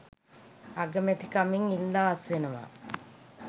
අගමැතිකමෙන් ඉල්ලා අස්වෙන්න